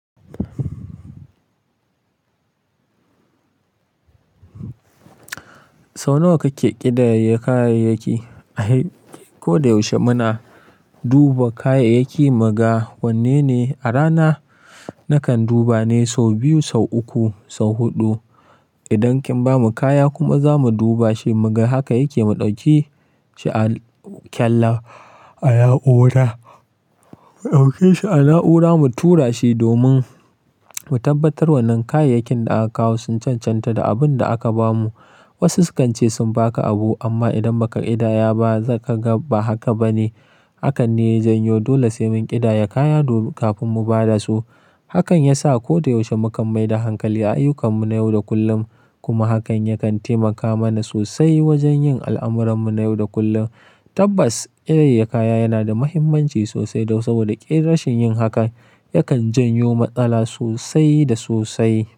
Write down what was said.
Sau nawa kake ƙidaya kayayyaki? A ko da yaushe muna duba kayayyaki mu ga wanne ne a rana nakan duba ne sau biyu, sau uku, sau huɗu. Idan kin ba mu kaya kuma za mu duba shi mu ga haka yake, mu ɗauke shi a kyalla a na'ura, mu ɗauke shi a na'ura mu tura shi domin mu tabbatar wannan kayayyakin da aka kawo sun cancanta da abin da aka ba mu. Wasu sukan ce sun ba ka abu amma idan ba ka ƙidaya ba zaka ga ba haka ba ne. Hakan ne ya janyo dole sai mun ƙidaya kaya kafin mu ba da su. Hakan ya sa ko da yaushe mu kan maida hankali ayyukan mu na yau da kullum kuma hakan yakan taimaka mana sosai wajen yin al'amuran mu na yau da kullum. Tabbas, ƙidayar kaya yana da muhimmanci sosai don saboda ƙin rashin yin hakan yakan janyo matsala sosai da sosai.